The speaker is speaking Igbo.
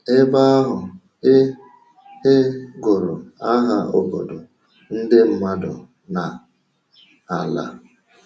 Ebe ahụ, ị ị gụrụ aha obodo, ndị mmadụ, na ala.